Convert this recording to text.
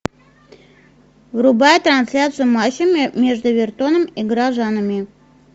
врубай трансляцию матча между эвертоном и горожанами